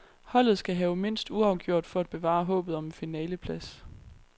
Holdet skal have mindst uafgjort for at bevare håbet om en finaleplads.